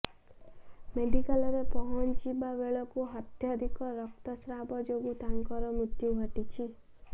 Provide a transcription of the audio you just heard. ମେଡ଼ିକାଲରେ ପହଞ୍ଚିବା ବେଳକୁ ଅତ୍ୟଧିକ ରକ୍ତସ୍ରାବ ଯୋଗୁଁ ତାଙ୍କର ମୃତ୍ୟୁ ଘଟିଛି